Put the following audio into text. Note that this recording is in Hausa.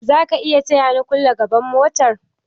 Zaka iya taya ni kulle gaban motar?